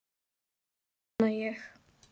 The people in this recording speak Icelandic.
Vona ég.